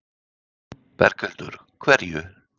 Berghildur: Hverju?